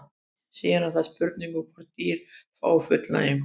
síðan er það spurningin um hvort dýr fái fullnægingu